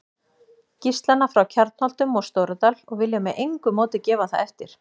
Gíslana frá Kjarnholtum og Stóradal og vilja með engu móti gefa það eftir.